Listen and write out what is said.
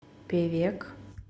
певек